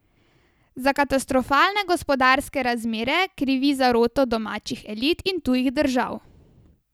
Za katastrofalne gospodarske razmere krivi zaroto domačih elit in tujih držav.